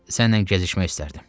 Səninlə gəzişmək istərdim.